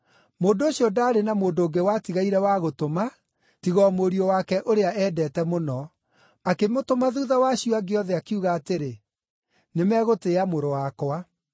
“Mũndũ ũcio ndaarĩ na mũndũ ũngĩ watigaire wa gũtũma, tiga o mũriũ wake ũrĩa eendete mũno. Akĩmũtũma thuutha wa acio angĩ othe, akiuga atĩrĩ, ‘Nĩmegũtĩĩa mũrũ wakwa.’